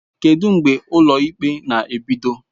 Kedu mgbe ụlọ ikpe na-ebido?